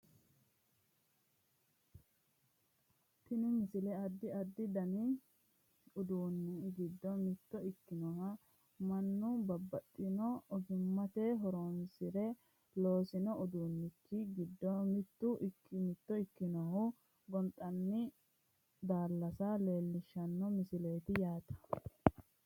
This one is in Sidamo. tini misile addi addi dani uduunni giddo mitto ikkinoha mannu babbaxxitino ogimma horonsire loosino uduunnichi giddo mitto ikkinoha gonxani daallasa leellishshanno misileeti yaate